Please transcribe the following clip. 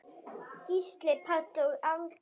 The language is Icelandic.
Gísli Páll og Alda.